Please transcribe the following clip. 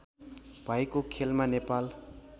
भएको खेलमा नेपाल